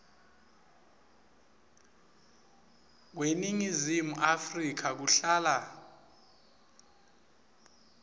kweningizimu afrika kuhlala